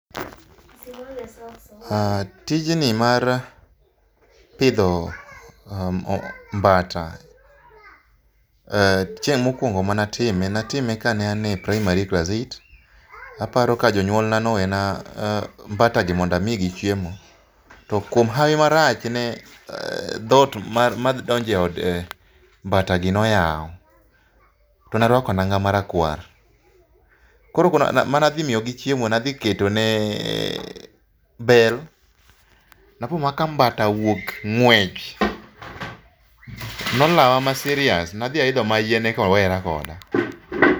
Aaah, tijni mar pidho mmh,mbata eeh, chieng mokuongo mane atime, natime mokuongo ka an e primary klas eight. Aparo ka jonyuolna nowena mbata gi mondo amigi chiemo to kuom hawi marach ne dhot madonjo e od mbata gi noyaw tone arwako lau marakwar, koro mane adhi miyogi chiemo na dhi ketone bel, napo mana ka mbata owuok ngwech, nolawa ma serious, nadhi aidho mana yien eka owere koda.